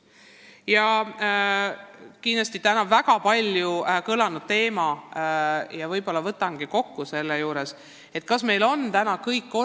Ja veel üks täna väga palju kõlanud küsimus: kas meie mitte-eestikeelne elanikkond oskab eesti keelt?